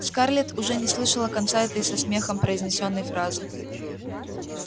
скарлетт уже не слышала конца этой со смехом произнесённой фразы